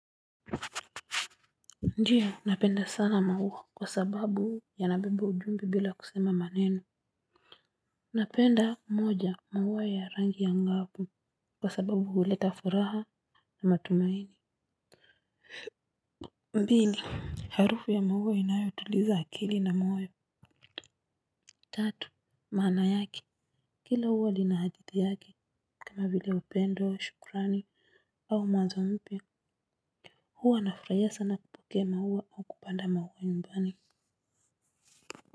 Ndio, napenda sana maua kwa sababu yanabeba ujumbe bila kusema maneno. Napenda moja, maua ya rangi ya ngavu kwa sababu huleta furaha na matumaini. Mbili, harufu ya maua inayotuliza akili na moyo. Tatu, maana yake. Kila huwa lina hati yake, kama vile upendo, shukrani. Au mwanzo mpya. Huwa nafurahia sana kupokea maua au kupanda maua nyumbani.